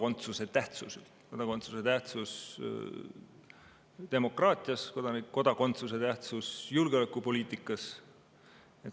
On muutunud ka kodakondsuse tähtsus demokraatias, kodakondsuse tähtsus julgeolekupoliitikas.